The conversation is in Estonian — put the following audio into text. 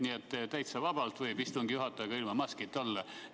Nii et täitsa vabalt võib istungi juhataja ka ilma maskita olla.